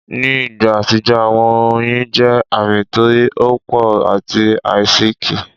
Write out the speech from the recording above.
Ni igba atijọ, awọn oyin jẹ aami ti opo ati aisiki